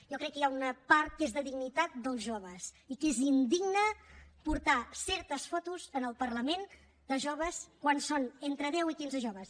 jo crec que hi ha una part que és de dignitat dels joves i que és indigne portar certes fotos al parlament de joves quan són entre deu i quinze joves